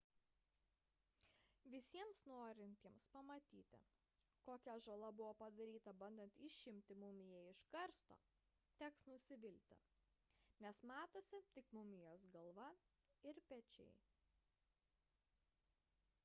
visiems norintiems pamatyti kokia žala buvo padaryta bandant išimti mumiją iš karsto teks nusivilti nes matosi tik mumijos galva ir pečiai